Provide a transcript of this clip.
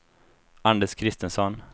Anders Kristensson